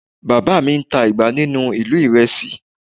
Bàbá mi ń ta igbá ní ìlú ìrésé